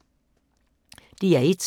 DR1